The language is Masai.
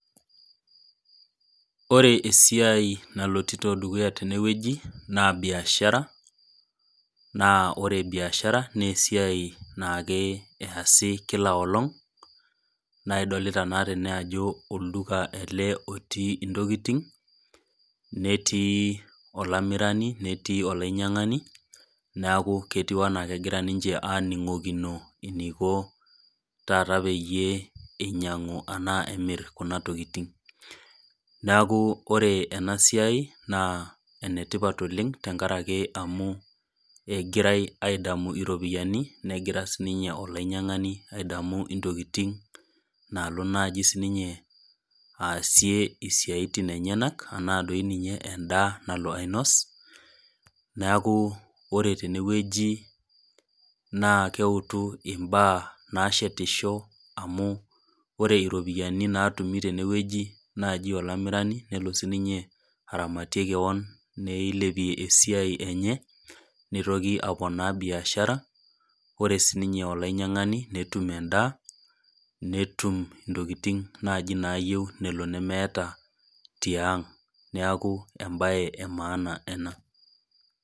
Ore esiai nalotito dukuya tenewueji, naa biashara naa ore biashara naa esiai naassi kila olong', naa idolita naa tene ajo olduka ele otii intokitin netii olamirani, netii olainyang'ani neaku ketiu ninche anaa kegira aning'okino eneiko peyie taata eninyang'u ana emir kuna tokitin. Neaku ore ena siai naa enetipat oleng' tenkaraki amu egirai aidamu iropiani negira sii ninye olainyang'ani aing'oru intokitin naalo naaji sii ninye aasie isiatin enyenak anaa dei ninye endaa nalo ainos, neaku ore tenewueji naa keutu imbaa naashetisho amu ore iropiani naatumi naaji tenewueji nelo sii ninye olamirani ninye aramatie kewon, neilepie esiai enye, neitoki aponaa biashara. Ore sii ninye olainyang'ani netum endaa netum intokitin naaji naayiou nemeata tiang' neaku embaye e maana ena.